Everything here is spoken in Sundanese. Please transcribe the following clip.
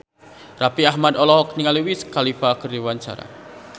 Raffi Ahmad olohok ningali Wiz Khalifa keur diwawancara